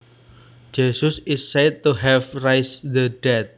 Jesus is said to have raised the dead